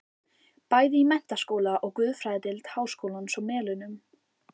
Bæði í menntaskóla og guðfræðideild háskólans á Melunum.